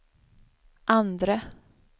andre